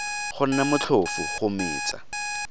go nne motlhofo go metsa